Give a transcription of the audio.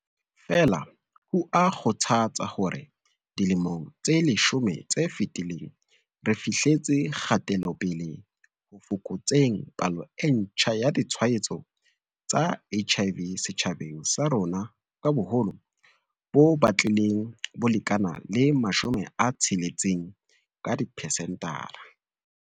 Feela, ho a kgothatsa hore dilemong tse leshome tse fetileng re fihletse kgatelopele ho fokotseng palo e ntjha ya ditshwaetso tsa HIV setjhabeng sa rona ka boholo bo batlileng bo lekana le 60 ka dipesentara.